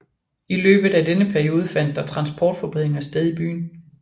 I løbet af denne periode fandt der transportforbedringer sted i byen